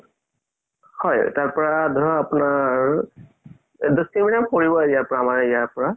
হয় তাৰ পৰা ধৰ আপুনাৰ দহ kilometer মান পৰিব আমাৰ ইয়াৰ পৰা